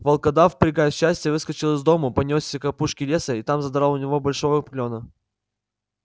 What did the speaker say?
волкодав прыгая от счастья выскочил из дому понёсся к опушке леса и там задрал у него большого клёна